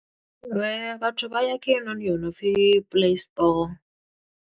Vhathu vha ya kha heinoni yo no pfi Play Store.